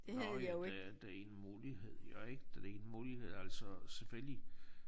Nåh ja det det en mulighed jo ik det en mulighed altså selvfølgelig